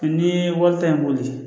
Mɛ n'i ye wari ta in boli